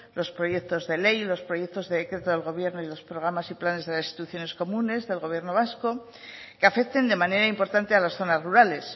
los proyectos de ley los proyectos de decreto del gobierno y los programas y planes de las instituciones comunes del gobierno vasco que afecten de manera importante a las zonas rurales